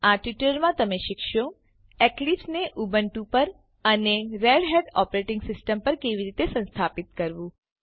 આ ટ્યુટોરીયલમાં તમે શીખશો એક્લિપ્સ ને ઉબુન્ટુ પર અને રેડહેટ ઓપરેટીંગ સીસ્ટમ પર કેવી રીતે સંસ્થાપીત કરવું